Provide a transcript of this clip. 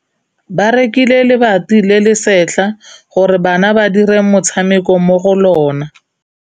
Ba rekile lebati le le setlha gore bana ba dire motshameko mo go lona.